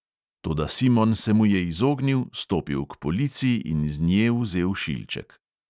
Toda simon se mu je izognil, stopil k polici in z nje vzel šilček.